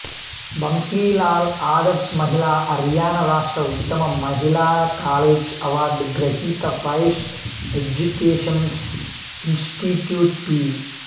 బంస్లీ లాల్ ఆదర్శ్ మహిళా హర్యానా రాష్ట్ర ఉత్తమ మహిళాకాలేజ్ అవార్డ్ గ్రహీత వైష్ ఎజ్యుకేషంస్ ఇన్శ్టిట్యూట్ పి